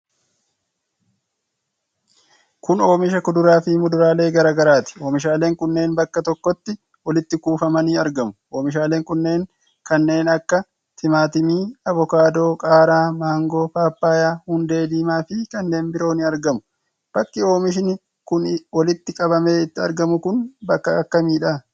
Kun oomisha kuduraa fi muduraalee garaa garaati. Oomishaaleen kunneen bakka tokkotti walitti kuufamanii argamu. Omishaaleen kunneen kannee akka timaatimii, avokaadoo, qaaraa, maangoo, paappayyaa, hundee diimaa fi kanneen biroo ni argamu. Bakki oomishi kun walitti qabamee itti argamu kun bakka akkamiidha?